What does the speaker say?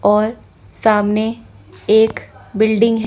और सामने एक बिल्डिंग है।